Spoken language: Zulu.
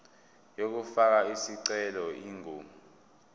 yokufaka isicelo ingu